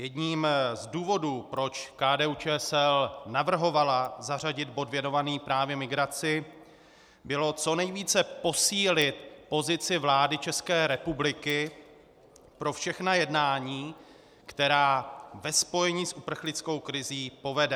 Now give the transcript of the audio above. Jedním z důvodů, proč KDU-ČSL navrhovala zařadit bod věnovaný právě migraci, bylo co nejvíce posílit pozici vlády České republiky pro všechna jednání, která ve spojení s uprchlickou krizí povede.